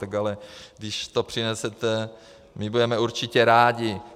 Tak ale když to přinesete, my budeme určitě rádi.